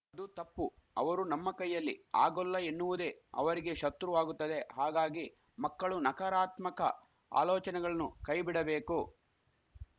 ಅದು ತಪ್ಪು ಅವರು ನಮ್ಮ ಕೈಯಲ್ಲಿ ಆಗೋಲ್ಲ ಎನ್ನುವುದೇ ಅವರಿಗೆ ಶತ್ರು ವಾಗುತ್ತದೆ ಹಾಗಾಗೀ ಮಕ್ಕಳು ನಕಾರಾತ್ಮಕ ಆಲೋಚನೆಗಳನ್ನು ಕೈಬಿಡಬೇಕು